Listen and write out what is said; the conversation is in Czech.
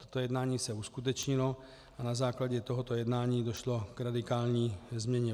Toto jednání se uskutečnilo a na základě tohoto jednání došlo k radikální změně.